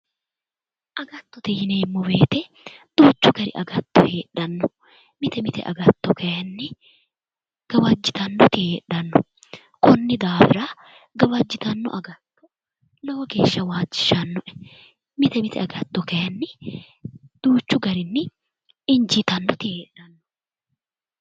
Agattote yineemmo woyiite duuchu dani agatto heedhanno mite mite agatto kaayiinni gawajjitannoti heedhanno konni daafira gawqjjitanno agatto lowo geeshsha waajjishshannoe. mite mite agatto kaayiinni duuchu garinni injiitannoti heedhanno.